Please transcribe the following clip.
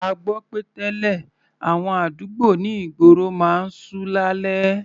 A gbọ́ pé tẹ́lẹ̀, àwọn àdúgbò ní ìgboro máa ń ṣú lálẹ́.